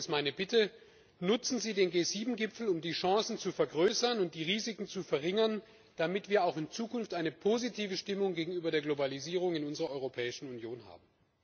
Deswegen ist meine Bitte Nutzen Sie den G7 Gipfel, um die Chancen zu vergrößern und die Risiken zu verringern, damit wir auch in Zukunft eine positive Stimmung gegenüber der Globalisierung in unserer Europäischen Union haben.